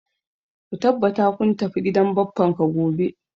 Ka tabbata ka tafi gidan bappan ka gobe